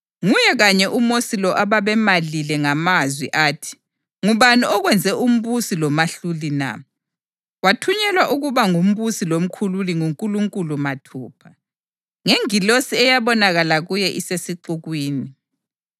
Nguye kanye uMosi lo ababemalile ngamazwi athi, ‘Ngubani okwenze umbusi lomahluli na?’ Wathunyelwa ukuba ngumbusi lomkhululi nguNkulunkulu mathupha, ngengilosi eyabonakala kuye isesixukwini.